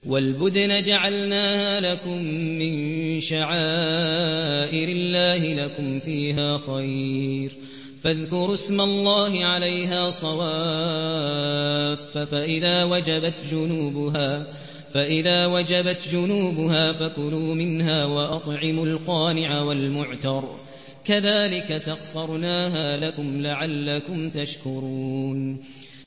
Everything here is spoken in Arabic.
وَالْبُدْنَ جَعَلْنَاهَا لَكُم مِّن شَعَائِرِ اللَّهِ لَكُمْ فِيهَا خَيْرٌ ۖ فَاذْكُرُوا اسْمَ اللَّهِ عَلَيْهَا صَوَافَّ ۖ فَإِذَا وَجَبَتْ جُنُوبُهَا فَكُلُوا مِنْهَا وَأَطْعِمُوا الْقَانِعَ وَالْمُعْتَرَّ ۚ كَذَٰلِكَ سَخَّرْنَاهَا لَكُمْ لَعَلَّكُمْ تَشْكُرُونَ